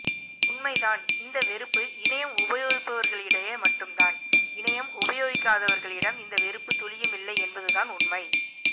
உண்மைதான் இந்த வெறுப்பு இணையம் உபயோகிப்பவர்களிடையே மட்டும்தான் இணையம் உபயோகிக்காதவர்களிடம் இந்த வெறுப்பு துளியும் இல்லை என்பதுதான் உண்மை